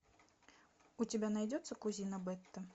у тебя найдется кузина бетта